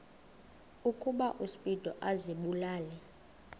ukuba uspido azibulale